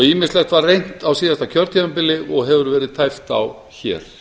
ýmislegt var reynt á síðasta kjörtímabili og hefur verið tæpt á hér